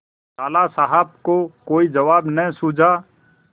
लाला साहब को कोई जवाब न सूझा